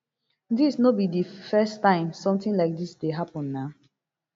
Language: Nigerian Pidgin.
dis no be di first time sometin like dis dey happen na